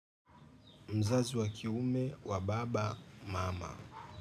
Mzazi wa kiume wa baba mama.